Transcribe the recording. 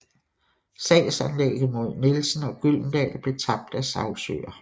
Sagsanlægget mod Nielsen og Gyldendal blev tabt af sagsøger